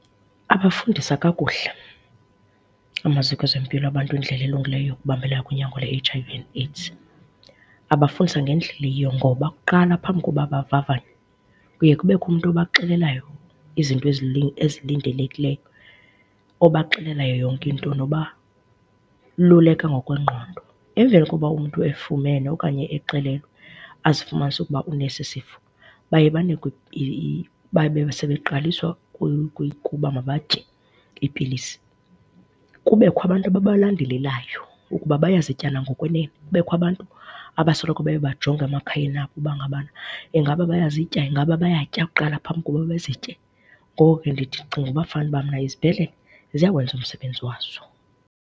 Babafundisa kakuhle amaziko ezempilo abantu indlela elungileyo yokubambelela kunyango lwe-H_I_V and AIDS. Babafundisa ngendlela eyiyo, ngoba kuqala phambi koba bavavanywe kuye kubekho umntu obaxelelayo izinto ezilindelekileyo obaxelela yonke into nobaluleka ngokwengqondo. Emveni kokuba umntu efumene okanye exelelwe azifumanise ukuba unesi sifo baye banikwe baye sebeqaliswa ukuba mabatye ipilisi. Kubekho abantu ababalandelelayo ukuba bayazitya na ngokwenene. Kubekho abantu abasoloko beyobajonga emakhayeni abo uba ingabana ingaba bayazitya, ingaba bayatya kuqala phambi kokuba bazitye. Ngoko ke ndithi, ndicinga ukuba kufane uba izibhedlela ziyawenza umsebenzi wazo.